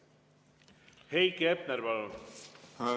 Heiki Hepner, palun!